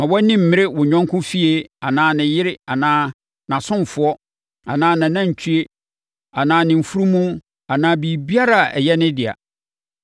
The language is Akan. Mma wʼani mmerɛ wo yɔnko fie anaa ne yere anaa nʼasomfoɔ anaa nʼanantwie anaa ne mfunumu anaa biribiara a ɛyɛ ne dea.”